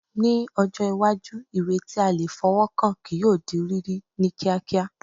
Ní ọjọ́ iwájú, ìwé tí a lè fọwọ́ kàn kí yóò di rírí ní kíákíá